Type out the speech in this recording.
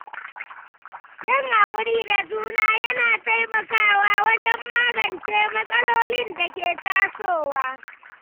Yin haƙuri da juna yana taimakawa wajen magance matsalolin da ke tasowa.